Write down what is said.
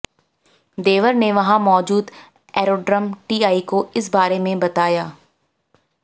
देवर ने वहां मौजूद एरोड्रम टीआई को इस बारे में बताया